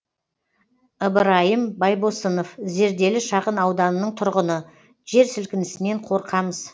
ыбырайым байбосынов зерделі шағын ауданының тұрғыны жер сілкінісінен қорқамыз